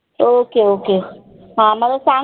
ok ok हा मला सांग